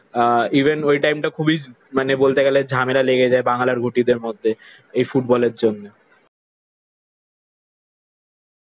আহ even ওই টাইমটা খুবই মানে বলতে গেলে ঝামেলা লেগে যায় বাঙ্গাল আর ঘটিদের মধ্যে, এই ফুটবলের জন্যে।